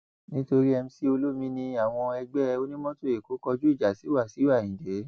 nítorí mc olomini àwọn ẹgbẹ onímọtò èkó kọjú ìjà sí wàsíù ayinde